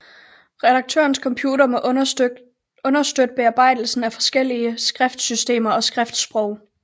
Redaktørens computer må understøtte bearbejdelsen af forskellige skriftsystemer og skriftssprog